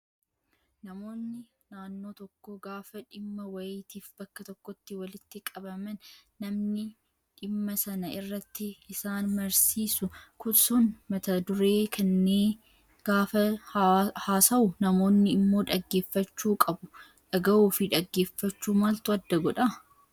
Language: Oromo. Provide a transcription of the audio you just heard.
Namoonni naannoo tokkoo gaafa dhimma wayiitiif bakka tokkotti walitti qabaman namni dhimma sana irratti isaan mariisisu sun mata duree kennee gaafa haasawu namoonni immoo dhaggeeffachuu qabu. Dhagahuu fi dhaggeeffachuu maaltu adda godhaa?